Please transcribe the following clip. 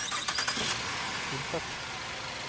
innfødt